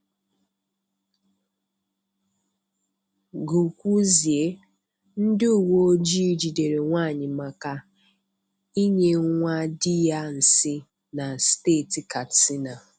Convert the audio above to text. Gukwuzie: Ndị uwe ojii jidere nwaanyị maka inye nwa dị ya nsị na steeti Kastina.